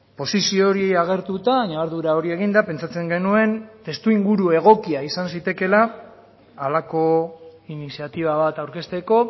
posizio hori agertuta ñabardura hori eginda pentsatzen genuen testuinguru egokia izan zitekeela halako iniziatiba bat aurkezteko